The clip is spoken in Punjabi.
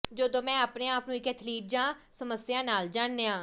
ਜਦੋਂ ਮੈਂ ਆਪਣੇ ਆਪ ਨੂੰ ਇਕ ਅਥਲੀਟ ਜਾਂ ਸਮੱਸਿਆ ਨਾਲ ਜਾਣਿਆ